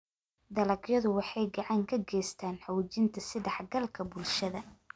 Dalagyadu waxay gacan ka geystaan ??xoojinta is-dhexgalka bulshada.